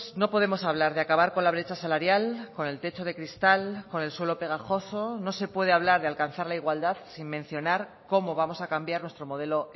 no podemos hablar de acabar con la brecha salarial con el techo de cristal con el suelo pegajoso no se puede hablar de alcanzar la igualdad sin mencionar cómo vamos a cambiar nuestro modelo